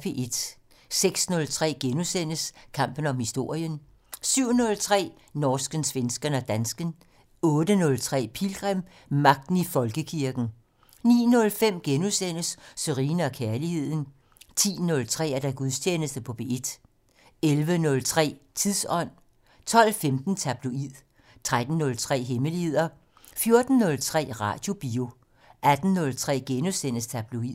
06:03: Kampen om historien * 07:03: Norsken, svensken og dansken 08:03: Pilgrim - Magten i Folkekirken 09:05: Sørine & Kærligheden * 10:03: Gudstjeneste på P1 11:03: Tidsånd 12:15: Tabloid 13:03: Hemmeligheder 14:03: Radiobio 18:03: Tabloid *